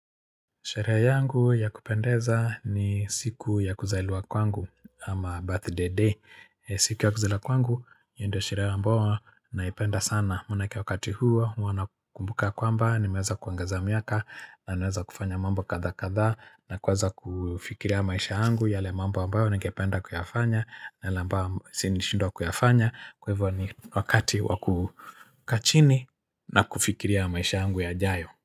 Sherehe yangu ya kupendeza ni siku ya kuzailiwa kwangu ama birthday day. Siku ya kuzaliwa kwangu, hio ndo sherehe ambao naipenda sana. Maanake wakati huo, huwa nakumbuka kwamba, nimeweza kuongeza miaka, na naweza kufanya mambo kadha kadha, na kuweza kufikiria maisha yangu, yale mambo ambayo ningependa kuyafanya, yale ambao siwezi shindwa kuyafanya. Kwa hivyo ni wakati wakukaa chini na kufikiria maisha yangu yajayo.